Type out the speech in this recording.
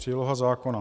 Příloha zákona.